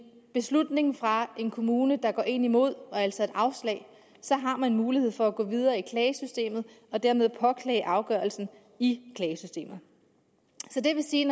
beslutning fra en kommune der går en imod altså et afslag har man mulighed for at gå videre i klagesystemet og dermed påklage afgørelsen i klagesystemet det vil sige